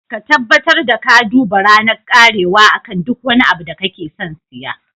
Ka tabbatar ka duba ranar karewa akan duk wani abu da kake son siya.